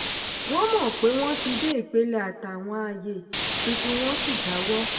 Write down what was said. wọ́n mọ̀ pé wọ́n ti dé ipele àtàwọn ààyè tuntun wọ́n sì jáwọ́.